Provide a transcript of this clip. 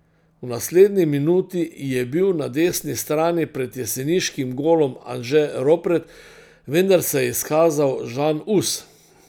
V naslednji minuti je bil na desni strani pred jeseniškim golom Anže Ropret, vendar se je izkazal Žan Us.